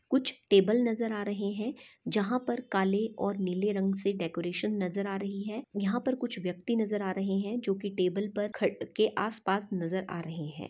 कुछ टेबल नज़र आ रहे है जहाँ पर काले और नीले रंग से डेकोरेशन नज़र आ रही है यहाँ पर कुछ व्यक्ति नज़र आ रहे है जो की टेबल पर खट के आसपास नज़र आ रहे है।